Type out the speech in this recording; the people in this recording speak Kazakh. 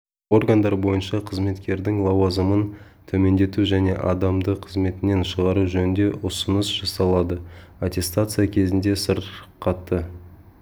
органдар бойынша қызметкердің лауазымын төмендету және адамды қызметінен шығару жөнінде ұсыныс жасалды аттестация кезінде сырқаты